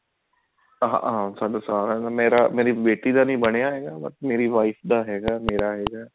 ਹਾਂ ਹਾਂ ਸਾਡੇ ਸਾਰਿਆਂ ਦਾ ਮੇਰੀ ਬੇਇ ਦਾ ਨੀ ਬਣਿਆ ਹੈਗਾ ਮੇਰੀ wife ਦਾ ਹੈਗਾ ਮੇਰਾ ਹੈਗਾ